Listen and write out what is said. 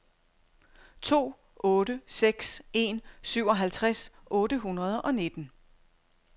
to otte seks en syvoghalvtreds otte hundrede og nitten